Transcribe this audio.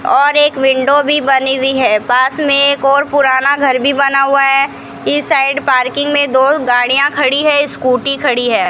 और एक विंडो भी बनी हुई है पास में एक और पुराना घर भी बना हुआ है इस साइड पार्किंग में दो गाड़ियां खड़ी है स्कूटी खड़ी है।